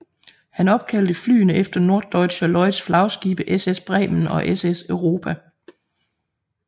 Han opkaldte flyene efter Norddeutscher Lloyds flagskibe SS Bremen og SS Europa